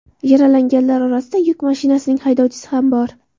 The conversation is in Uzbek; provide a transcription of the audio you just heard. Yaralanganlar orasida yuk mashinasining haydovchisi ham bor.